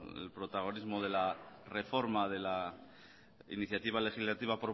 el protagonismo de la reforma de la iniciativa legislativa